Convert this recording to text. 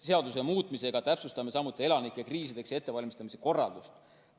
Seaduse muutmisega täpsustame samuti elanike kriisideks ettevalmistamise korraldust.